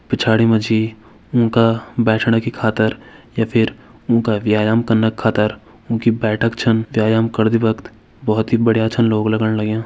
पिछाड़ी मा जी उंका बैठणा की खातिर या फिर उंका व्यायाम कना का खातिर उंकी बैठक छन। व्ययाम करदी बख़त भोत ही बढ़िया छन लोग लगण लग्यां।